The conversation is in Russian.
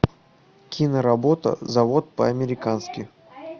киноработа завод по американски